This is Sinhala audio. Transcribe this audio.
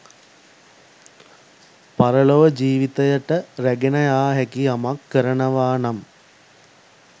පරලොව ජීවිතයට රැගෙන යා හැකි යමක් කරනවා නම්